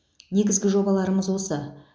негізгі жобаларымыз осы